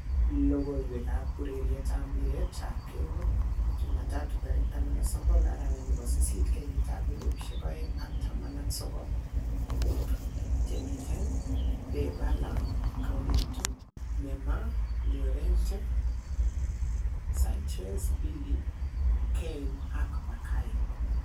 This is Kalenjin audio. Logoiywekab urerietab mpiretab keldo jumatatu 19.08.2019: Dybala, Coutinho, Neymar, Llorente, Sanchez, Bailly, Can, Bakayoko